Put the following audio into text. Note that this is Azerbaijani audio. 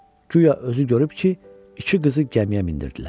Guya özü görüb ki, iki qızı gəmiyə mindirdilər.